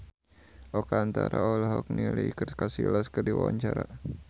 Oka Antara olohok ningali Iker Casillas keur diwawancara